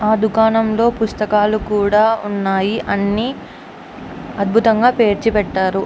ఆ దుకాణంలో పుస్తకాలు కూడా ఉన్నాయి. అవన్నీను అద్భుతంగా పేర్చి పెట్టారు.